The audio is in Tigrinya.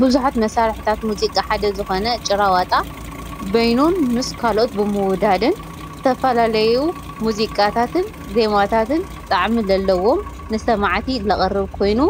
ብዙሓት መሳርሕታት ሙዚቃ ሓደ ዝኾነ ጭራ ዋጣ በይኑን ምስ ካልኦት ብምውዳድን ዝተፈላለዩ ሙዚቃታትን ዜማታትን ጣዕሚ ለለዎም ንሰማዕቲ ለቕርብ ኮይኑ